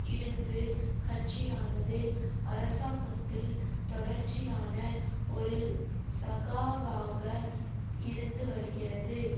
இருந்து கட்சியானது அரசாங்கத்தில் தொடர்ச்சியான ஒரு சகாவாக இருந்துவருகிறது